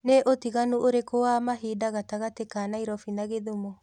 ni utiganu ũrĩkũ wa mahĩnda gatagati ka naĩrobĩ na gĩthumo